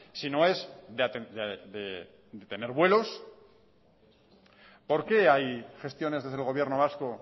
sino es de tener vuelos por qué hay gestiones desde el gobierno vasco